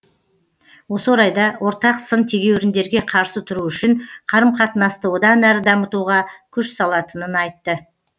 осы орайда ортақ сын тегеуіріндерге қарсы тұру үшін қарым қатынасты одан әрі дамытуға күш салатынын айтты